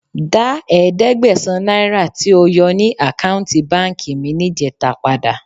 Dá ẹ̀ẹ́dẹ́gbẹ̀sán náírà tí o yọ ní àkáùntì báǹkì mi níjẹta padà.